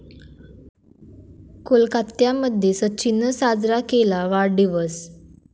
कोलकात्यामध्ये सचिननं साजरा केला वाढदिवस